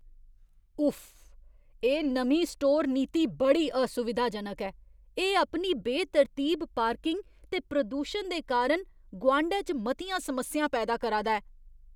उफ्फ! एह् नमीं स्टोर नीति बड़ी असुविधाजनक ऐ। एह् अपनी बेतरतीब पार्किंग ते प्रदूशन दे कारण गुआंढै च मतियां समस्यां पैदा करा दा ऐ।